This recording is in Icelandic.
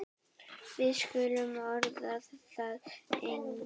Við skulum orða það þannig.